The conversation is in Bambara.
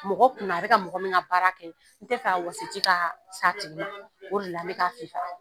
Mɔgɔ kunna a bɛ ka mɔgɔ min ka baara kɛ, n tɛ wɔsiji ka s'a tigi ma, o de la u be ka fifa